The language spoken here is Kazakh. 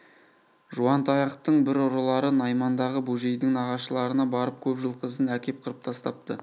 жуантаяқтың бір ұрылары наймандағы бөжейдің нағашыларына барып көп жылқысын әкеп қырып тастапты